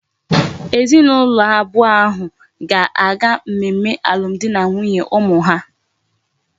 Ezi na ulo abuo ahu ga aga mmemme alum di na nwunye umu ha